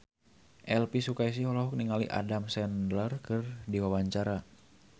Elvy Sukaesih olohok ningali Adam Sandler keur diwawancara